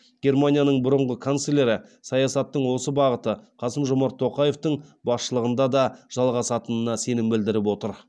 германияның бұрынғы канцлері саясаттың осы бағыты қасым жомарт тоқаевтың басшылығында да жалғасатынына сенім білдіріп отыр